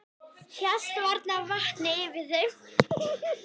Hélt varla vatni yfir þeim.